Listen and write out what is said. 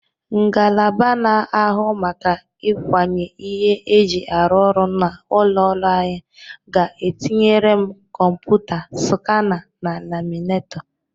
Ngalaba na-ahụ maka ịkwanye ihe e ji arụ ọrụ n'ụlọ ọrụ anyị ga-etinyere m kọmpụta, skana na laminetọ